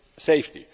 safety.